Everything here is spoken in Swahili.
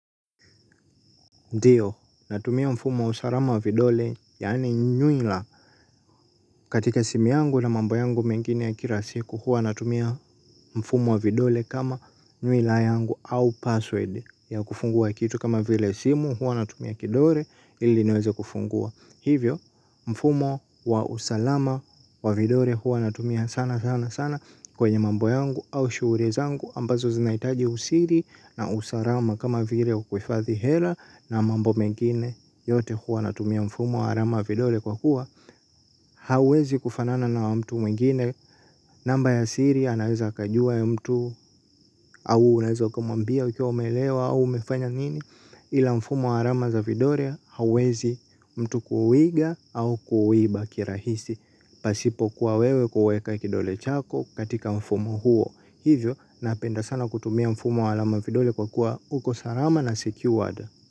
Natumia mfumo wa usalama wa vidole yaani nyuila katika simu yangu na mambo yangu mengine ya kila siku huwa natumia mfumo wa vidole kama nyuila yangu au password ya kufungua kitu kama vile simu huwa natumia kidole ili niweze kufungua. Hivyo mfumo wa usalama wa vidole huwa natumia sana sana sana kwenye mambo yangu au shughuli zangu ambazo zinahitaji usiri na usalama kama vile kuhifadhi hela na mambo mengine yote huwa natumia mfumo wa alama vidole kwa kuwa hauwezi kufanana na wa mtu mwingine namba ya siri anaweza akajua ya mtu au unaweza ukamwambia ukiwa umelewa au umefanya nini ila mfumo wa alama za vidole hauwezi mtu kuuiga au kuuiba kirahisi pasipo kuwa wewe kuweka kidole chako katika mfumo huo hivyo napenda sana kutumia mfumo wa alama vidole kwa kuwa uko salama na secured.